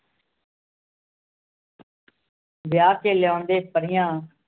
ਵਿਆਹ ਕੇ ਲਿਆਉਂਦੇ ਪਰੀਆਂ